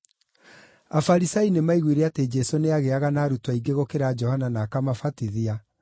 Afarisai nĩmaiguire atĩ Jesũ nĩagĩĩaga na arutwo aingĩ gũkĩra Johana na akamabatithia,